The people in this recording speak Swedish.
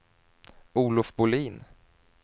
Olof Bolin